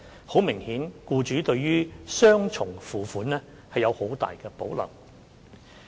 很明顯，僱主們對雙重付款有很大保留。